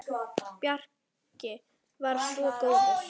Bjarki var svo góður.